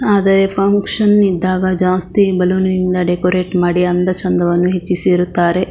ಆದರೆ ಫಂಕ್ಷನ್ ಇದ್ದಾಗ ಜಾಸ್ತಿ ಬೆಲೂನ್ ನಿಂದ ಡೆಕೊರೇಟ್ ಮಾಡಿ ಅಂದ ಚೆಂದವನ್ನು ಹೆಚ್ಚಿಸಿರುತ್ತಾರೆ.